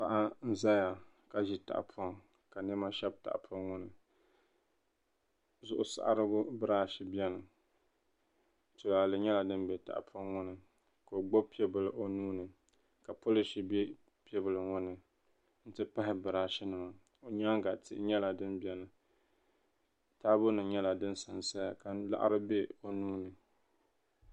Paɣa n ʒɛya ka ʒi tahapoŋ ka niɛma shɛbi tahapoŋ ŋo ni zuɣu saɣarigu birash biɛni tulaalɛ nyɛla din bɛ tahapoŋ ŋo ni ka o gbubi piɛbili o nuuni ka polish bɛ piɛbili ŋo ni n ti pahi birash nima o nyaanga tihi nyɛla din biɛni taabo nim nyɛla din sansaya ka laɣari bɛ o nuuni